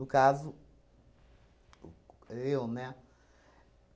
No caso, eu, né?